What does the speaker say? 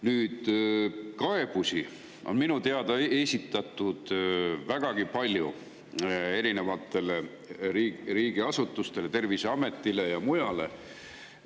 Nüüd, kaebusi on minu teada esitatud vägagi palju riigiasutustele, Terviseametile ja mujale.